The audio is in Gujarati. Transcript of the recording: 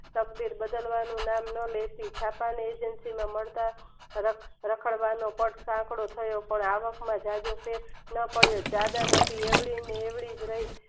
શબ્દ નું નામ લઈને માનતા રાખવાનો આંકડો થયો પણ આવક માં જજો ફેર ન પડ્યો એવડી ને એવડી જ રહી